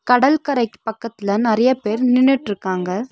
கடல்கரைக்கு பக்கத்ல நெறய பேர் நின்னிட்ருக்காங்க.